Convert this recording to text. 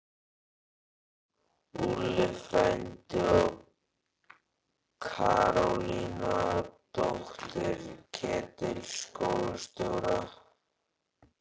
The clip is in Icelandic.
Úlli frændi og Karólína, dóttir Ketils skólastjóra!